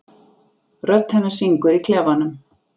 Rödd hennar syngur í klefanum.